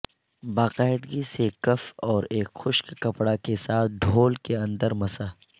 باقاعدگی سے کف اور ایک خشک کپڑا کے ساتھ ڈھول کے اندر مسح